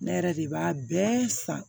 Ne yɛrɛ de b'a bɛɛ san